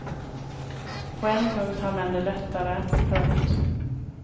På en punkt har män det lättare. punkt